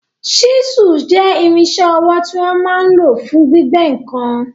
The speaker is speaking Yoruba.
Ṣísùl jẹ́ irinṣẹ́ ọwọ́ tí wọ́n máa n lò fún gbígbẹ́ ǹkan